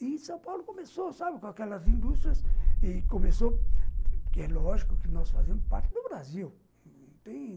E São Paulo começou, sabe, com aquelas indústrias e começou... É lógico que nós fazíamos parte do Brasil